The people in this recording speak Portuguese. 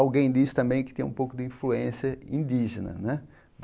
Alguém disse também que tinha um pouco de influência indígena, né?